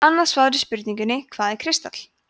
annað svar við spurningunni „hvað er kristall“